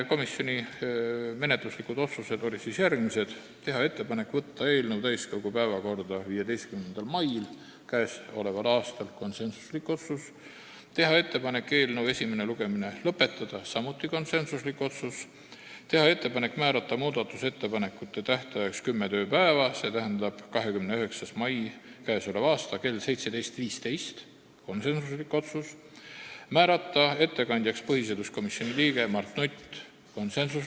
Komisjoni menetluslikud otsused olid järgmised: teha ettepanek võtta eelnõu täiskogu päevakorda 15. maiks k.a , teha ettepanek eelnõu esimene lugemine lõpetada , teha ettepanek määrata muudatusettepanekute tähtajaks kümme tööpäeva, st k.a 29. mai kell 17.15 , määrata ettekandjaks põhiseaduskomisjoni liige Mart Nutt .